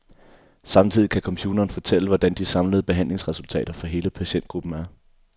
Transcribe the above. Samtidig kan computeren fortælle, hvordan de samlede behandlingsresultater for hele patientgruppen er.